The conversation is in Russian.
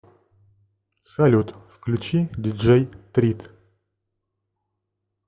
салют включи диджей трит